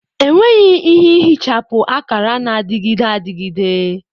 Enweghị ike ihichapụ akara na-adịgide adịgide